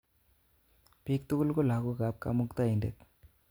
Piik tukul ko lagok ap Kamuktaindet.